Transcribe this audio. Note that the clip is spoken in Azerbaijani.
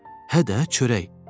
Hə də, çörək.